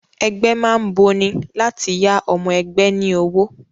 Ẹgbẹ́ má ń boni, láti yá ọmọ ẹgbẹ́ ní owó